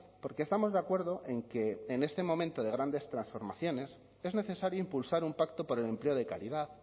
porque estamos de acuerdo en que en este momento de grandes transformaciones es necesario impulsar un pacto por el empleo de calidad